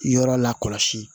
Yɔrɔ la kɔlɔsi